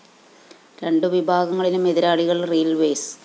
രണ്ടു വിഭാഗങ്ങളിലും എതിരാളികള്‍ റെയിൽവേസ്‌